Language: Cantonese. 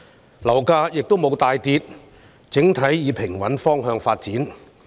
本港樓價亦沒有大跌，整體平穩發展。